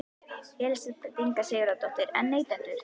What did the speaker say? Elísabet Inga Sigurðardóttir: En neytendur?